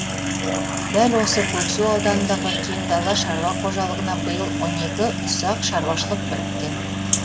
дәл осы көксу ауданындағы кең дала шаруа қожалығына биыл он екі ұсақ шаруашылық біріккен